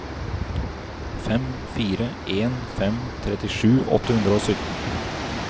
fem fire en fem trettisju åtte hundre og sytten